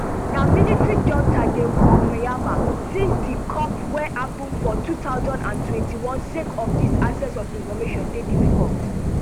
na military junta dey rule myanmar since di coup wey happun for two thousand and twenty-one sake of dis access to information dey difficult